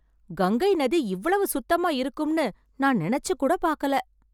கங்கை நதி இவ்வளவு சுத்தமா இருக்கும் நான் நினைச்சு கூட பாக்கல